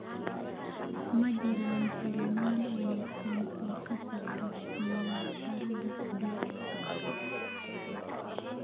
ma jiraan filimaan wanaagsan oo ka socda tiyaatarada u dhow